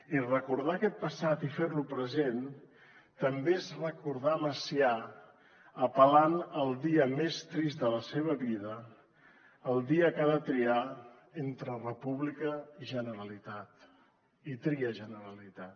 i recordar aquest passat i fer lo present també és recordar macià apel·lant al dia més trist de la seva vida el dia que ha de triar entre república i generalitat i tria generalitat